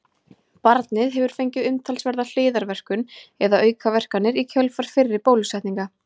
Barnið hefur fengið umtalsverða hliðarverkun eða aukaverkanir í kjölfar fyrri bólusetninga.